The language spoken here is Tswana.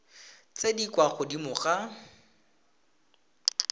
tse di kwa godimo ga